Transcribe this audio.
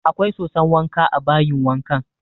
Akwai soson wanka a bayin wankan